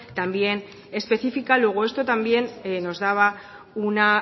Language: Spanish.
también especifica luego esto también nos daba una